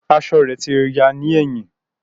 Aṣọ rẹ ti ya ni ẹhin.